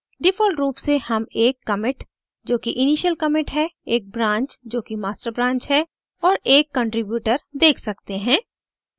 default रूप से हम एक commit जोकि initial commit है एक branch जोकि master branch है और एक contributor देख सकते हैं